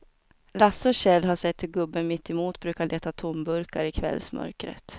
Lasse och Kjell har sett hur gubben mittemot brukar leta tomburkar i kvällsmörkret.